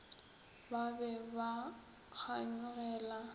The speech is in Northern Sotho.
ba be ba ba kganyogela